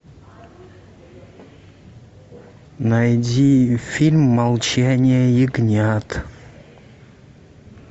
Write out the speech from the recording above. найди фильм молчание ягнят